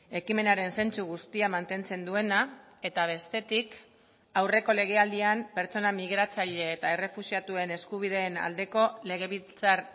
ekimenaren zentzu guztia mantentzen duena eta bestetik aurreko lege aldian pertsona migratzaile eta errefuxiatuen eskubideen aldeko legebiltzar